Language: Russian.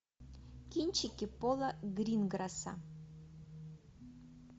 кинчики пола гринграсса